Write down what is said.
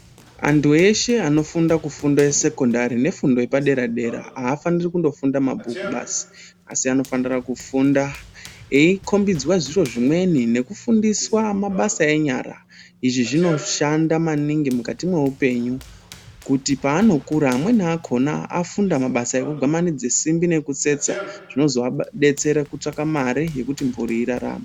Antu eshe anofunda kufundo yesekondari nefundo yepadera-dera, hafaniri kundofunda mabhuku basi. Asi anofanira kufunda aekombidzwa zviro zvimweni nekufundiswa mabasa enyara. Izvi zvinoshanda maningi mukati mweupenyu kuti paanokura. Amweni akona anofunda mabasa ekugwamanidze simbi nekutsetsa zvinozoabetsera katsvaka mare yekuti mhuri irarame.